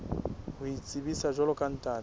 ho itsebisa jwalo ka ntate